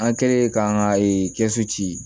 An kɛlen k'an ka kɛsu ci